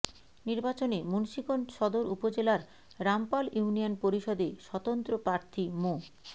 নির্বাচনে মুন্সীগঞ্জ সদর উপজেলার রামপাল ইউনিয়ন পরিষদে স্বতন্ত্র প্রার্থী মো